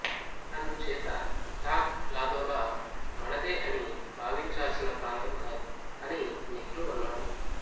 అందుచేత థాగ్ లాధోలా మనదే అని భావించాల్సిన ప్రాంతం కాదు అని నెహ్రూ అన్నాడు